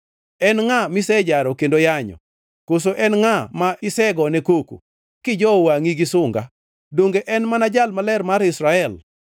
En ngʼa misejaro kendo yanyo? Koso en ngʼa ma isegone koko, kijowo wangʼi gi sunga? Donge en mana Jal Maler mar Israel.